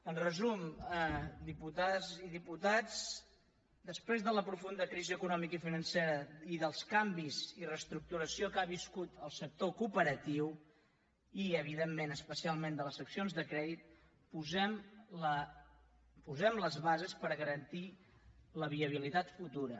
en resum diputades i diputats després de la profunda crisi economicofinancera i dels canvis i reestructuració que ha viscut el sector cooperatiu i evidentment especialment de les seccions de crèdit posem les bases per garantir la viabilitat futura